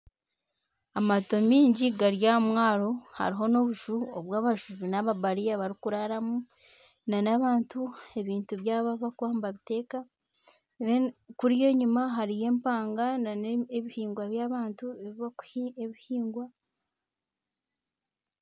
Amaato maingi gari aha mwaro hariho n'obufuha obu abashohi n'babariya bari kuraaramu n'abantu ebintu byabo ahu bakuba nibabiteeka. Kandi kuriya enyima hariyo empanga n'ebihingwa by'abantu ebi bakuhinga ebihingwa.